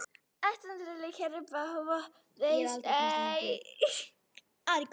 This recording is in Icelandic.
Kannski eitthvert verðmæti sé í þeim.